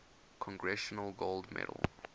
congressional gold medal